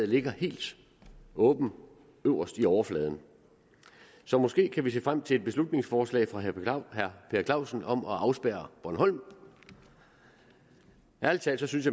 ligger helt åbent øverst i overfladen så måske kan vi se frem til et beslutningsforslag fra herre per clausen om at afspærre bornholm ærlig talt synes